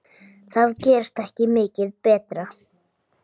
Það gerist ekki mikið betra.